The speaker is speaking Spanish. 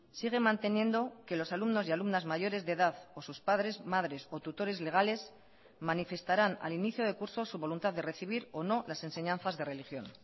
sigue manteniendo que los alumnos y alumnas mayores de edad o sus padres madres o tutores legales manifestarán al inicio de curso su voluntad de recibir o no las enseñanzas de religión